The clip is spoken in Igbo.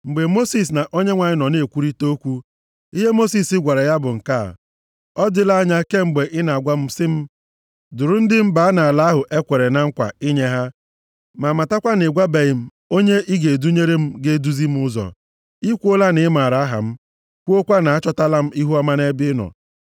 Mgbe Mosis na Onyenwe anyị nọ na-ekwurịta okwu, ihe Mosis gwara ya bụ nke a, “Ọ dịla anya kemgbe ị na-agwa m sị m, ‘Duru ndị m baa nʼala ahụ e kwere na nkwa inye ha.’ Ma matakwa na ị gwabeghị m onye ị ga-edunyere m ga-eduzi m ụzọ. I kwuola na ị maara aha m, kwukwaa na achọtala m ihuọma nʼebe ị nọ.